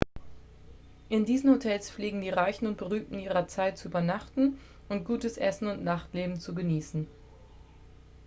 in diesen hotels pflegten die reichen und berühmten ihrer zeit zu übernachteten und gutes essen und nachtleben zu genießen